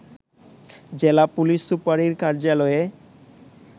জেলা পুলিশ সুপারের কার্যালয়ে